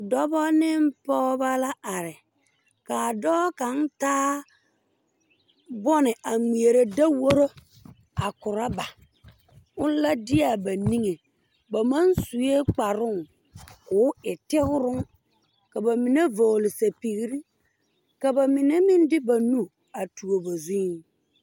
Dobɔ neŋ poobɔ la are kaa dɔɔ kaŋ taa bone a ngmɛɛrɛ daworo a korɔba one la deaa ba niŋe ba maŋ suee kparoŋ koo e tigroŋ ka ba mine vɔgle sɛpigre ka ba mine meŋ de ba nu a tuo ba zuiŋ.